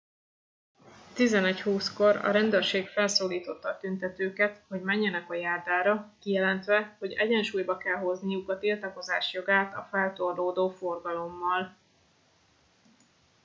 11 20 kor a rendőrség felszólította a tüntetőket hogy menjenek a járdára kijelentve hogy egyensúlyba kell hozniuk a tiltakozás jogát a feltorlódó forgalommal